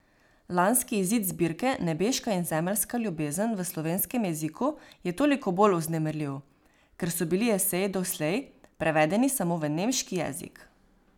Lanski izid zbirke Nebeška in zemeljska ljubezen v slovenskem jeziku je toliko bolj vznemirljiv, ker so bili eseji doslej prevedeni samo v nemški jezik.